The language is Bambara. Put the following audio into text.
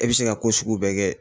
E bɛ se ka ko sugu bɛɛ kɛ.